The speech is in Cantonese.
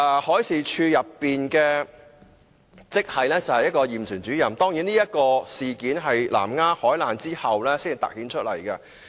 海事處驗船主任職系的人手不足問題，當然是在南丫海難後才凸顯出來。